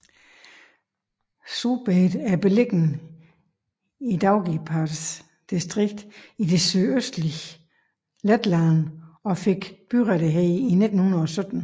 Subate er beliggende i Daugavpils distrikt i det sydøstlige Letland og fik byrettigheder i 1917